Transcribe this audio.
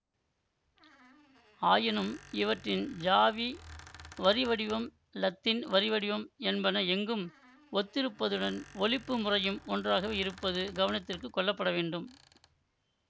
ஆயினும் இவற்றின் ஜாவி வரிவடிவம் இலத்தீன் வரிவடிவம் என்பன எங்கும் ஒத்திருப்பதுடன் ஒலிப்பு முறையும் ஒன்றாகவே இருப்பது கவனத்திற்கு கொள்ளப்பட வேண்டும்